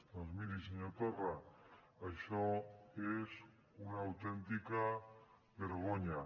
doncs miri senyor torra això és una autèntica vergonya